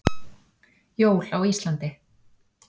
Jól á Íslandi.